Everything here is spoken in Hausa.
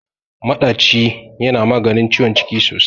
Maɗaci yana maganin ciwon ciki sosai.